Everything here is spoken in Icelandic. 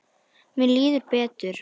Mér líður betur.